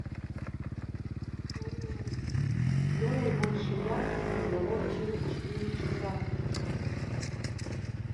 сделай больше яркость в игровой через четыре часа